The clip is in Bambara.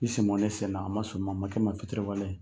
I sen bɔ ne sen na a ma soma, a ma kɛ ma fitiriwale ye.